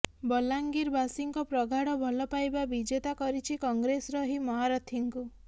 ବଲାଂଗିର ବାସୀଙ୍କ ପ୍ରଗାଢ ଭଲପାଇବା ବିଜେତା କରିଛି କଂଗ୍ରେସର ଏହି ମହାରଥୀଙ୍କୁ